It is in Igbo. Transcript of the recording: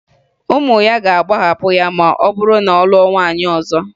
Ụmụ ya ga-agbaghapụ ya ma ọ bụrụ na ọ lụọ nwaanyị ọzọ